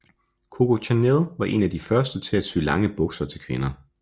Coco Chanel var en af de første til at sy lange bukser til kvinder